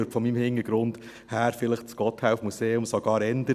Von meinem Hintergrund her läge mir vielleicht das Gotthelf-Museum sogar eher;